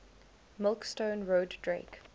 milkstone road drake